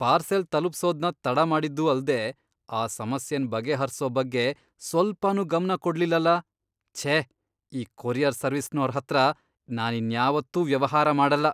Parcel ತಲುಪ್ಸೋದ್ನ ತಡ ಮಾಡಿದ್ದೂ ಅಲ್ದೇ ಆ ಸಮಸ್ಯೆನ್ ಬಗೆಹರ್ಸೋ ಬಗ್ಗೆ ಸ್ವಲ್ಪನೂ ಗಮ್ನ ಕೊಡ್ಲಿಲ್ಲಲ.. ಛೇ, ಈ ಕೊರಿಯರ್ ಸರ್ವಿಸ್ನೋರ್ಹತ್ರ ನಾನಿನ್ಯಾವತ್ತೂ ವ್ಯವಹಾರ ಮಾಡಲ್ಲ.